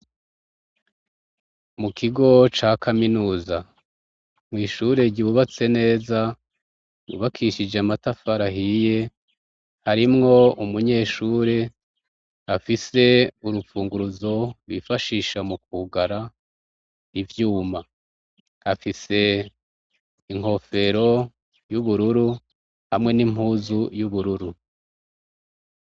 Mu kigo ca kaminuza, mw'ishure ryubatse neza, ryubakishije amatafari ahiye, arimwo umunyeshuri afise urufunguruzo bifashisha mu kwugara ivyuma. Afise inkofero y'ubururu hamwe n'impuzu y'ubururu.